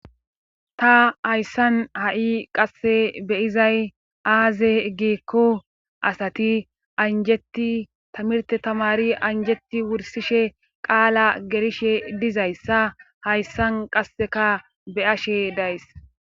Ta hayssan ha'i qasse beyizay aaze geekko asati anjetti tamirte tamari anjetti wursishe qaala gerishe dizayssa hayssan qasseka beyashe days.